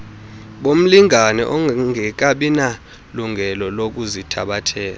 bomlingane ongekabinalungelo lokuzithabathela